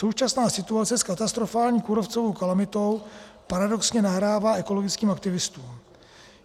Současná situace s katastrofální kůrovcovou kalamitou paradoxně nahrává ekologickým aktivistům.